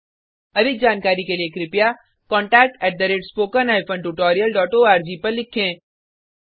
अधिक जानकारी के लिए contact spoken hyphen tutorial dot ORG पर लिखें